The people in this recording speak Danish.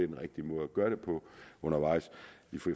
den rigtige måde at gøre det på undervejs